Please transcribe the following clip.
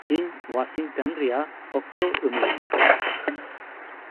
ᱤᱧ ᱳᱣᱟᱥᱤᱝᱴᱚᱱ ᱨᱮᱭᱟᱜ ᱚᱠᱛᱚ ᱤᱢᱟᱹᱧ ᱢᱮ